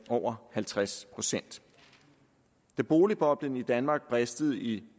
over halvtreds procent da boligboblen i danmark bristede i